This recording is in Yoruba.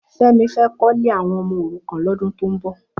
Femi fè kò ilé áwòn òmò órúkàn lòdún tó n bò